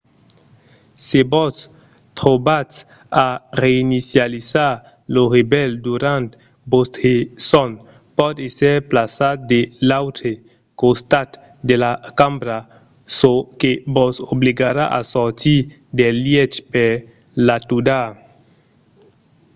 se vos trobatz a reinicializar lo revelh durant vòstre sòn pòt èsser plaçat de l'autre costat de la cambra çò que vos obligarà a sortir del lièch per l'atudar